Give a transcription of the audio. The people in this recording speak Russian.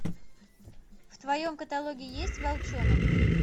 в твоем каталоге есть волчонок